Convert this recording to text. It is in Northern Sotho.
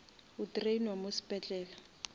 o drainwa mo sepetlele